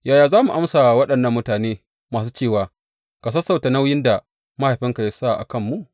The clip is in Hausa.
Yaya za mu amsa wa waɗannan mutane masu cewa, Ka sassauta nauyin da mahaifinka ya sa a kanmu’?